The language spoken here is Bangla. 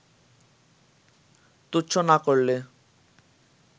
তুচ্ছ না করলে